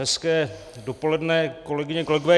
Hezké dopoledne, kolegyně, kolegové.